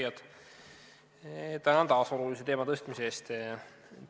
Head arupärijad, tänan taas olulise teema tõstmise eest!